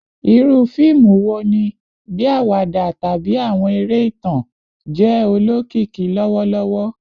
Iru fiimu wo ni, bii awada tabi awọn ere itan, jẹ olokiki lọwọlọwọ?